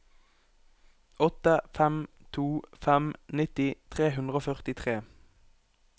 åtte fem to fem nitti tre hundre og førtitre